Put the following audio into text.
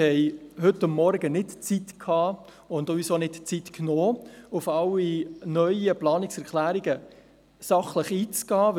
Wir hatten heute Morgen keine Zeit und haben uns auch nicht die Zeit genommen, um auf alle neuen Planungserklärungen sachlich einzugehen.